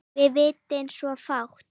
Við vitum svo fátt.